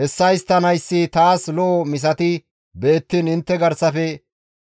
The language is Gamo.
«Hessa histtanayssi taas lo7o misati beettiin intte garsafe